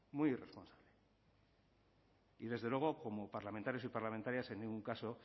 muy irresponsable y desde luego como parlamentarios y parlamentarias en ningún caso